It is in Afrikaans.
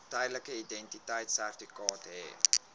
tydelike identiteitsertifikaat hê